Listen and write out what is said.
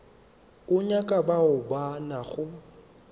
o nyaka bao ba nago